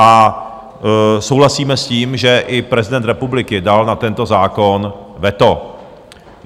A souhlasíme s tím, že i prezident republiky dal na tento zákon veto.